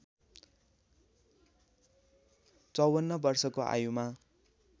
५४ वर्षको आयुमा